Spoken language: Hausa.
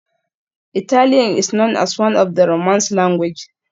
Italian is known as one of the romance language.